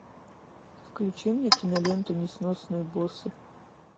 включи мне киноленту несносные боссы